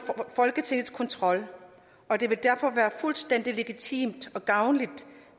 folketingets kontrol og det vil derfor være fuldstændig legitimt og gavnligt